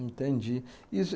Entendi.